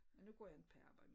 Og nu går jeg ikke på arbjede mere